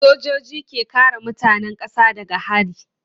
Sojoji ke kare mutanen kasa daga hari.